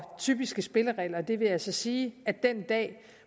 typiske spilleregler det vil altså sige at den dag